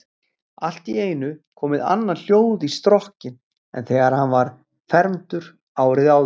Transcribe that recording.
Allt í einu komið annað hljóð í strokkinn en þegar hann var fermdur árið áður.